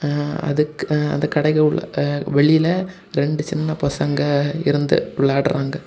ஆ அதுக்கு ஆ அந்த கடெக்குள்ளெ ஆ வெளிலெ ரெண்டு சின்ன பசங்க இருந்து விளையாடுறாங்க.